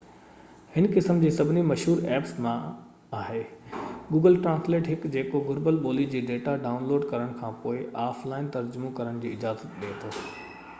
هن قسم جي سڀني مشهور ايپس مان هڪ google translate آهي جيڪو گهربل ٻولي جي ڊيٽا ڊائون لوڊ ڪرڻ کانپوءِ آف لائن ترجمو ڪرڻ جي اجازت ڏي ٿو